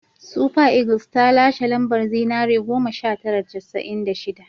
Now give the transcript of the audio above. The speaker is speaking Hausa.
Super Eagles ta lashe lambar zinare goma sha tara da casa'in da shida